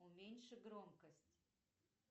уменьши громкость